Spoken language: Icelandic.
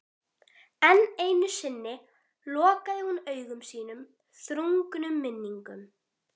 Enn einu sinni lokaði hún augum sínum þrungnum minningum.